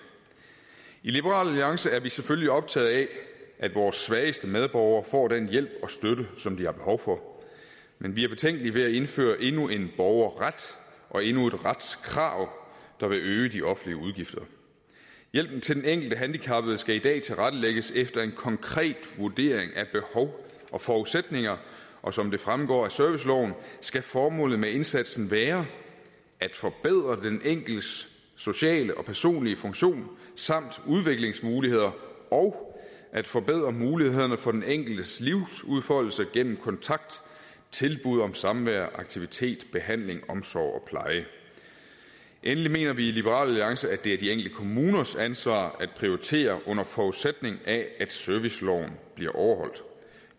i liberal alliance er vi selvfølgelig optaget af at vores svageste medborgere får den hjælp og støtte som de har behov for men vi er betænkelige ved at indføre endnu en borgerret og endnu et retskrav der vil øge de offentlige udgifter hjælpen til den enkelte handicappede skal i dag tilrettelægges efter en konkret vurdering af behov og forudsætninger og som det fremgår af serviceloven skal formålet med indsatsen være at forbedre den enkeltes sociale og personlige funktion samt udviklingsmuligheder og at forbedre mulighederne for den enkeltes livsudfoldelse gennem kontakt tilbud om samvær aktivitet behandling omsorg og pleje endelig mener vi i liberal alliance at det er de enkelte kommuners ansvar at prioritere under forudsætning af at serviceloven bliver overholdt